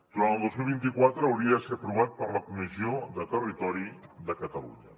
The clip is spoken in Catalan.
durant el dos mil vint quatre hauria de ser aprovat per la comissió de territori de catalunya